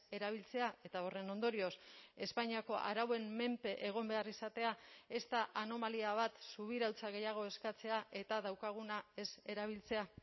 erabiltzea eta horren ondorioz espainiako arauen menpe egon behar izatea ez da anomalia bat subirautza gehiago eskatzea eta daukaguna ez erabiltzea